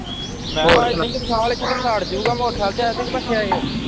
ਮੈਂ ਵਿਸ਼ਾਲ ਇੱਥੇ ਤੈਨੂੰ ਇਥੇ ਛੱਡ ਜੂਗਾ ਮੋਟਰਸਾਈਕਲ ਤੇ। ਕੈ ਦੀ ਬੱਸ ਵਿਚ ਆਏ ਓ?